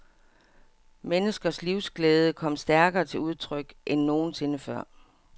Menneskers livsglæde kom stærkere til udtryk end nogensinde før.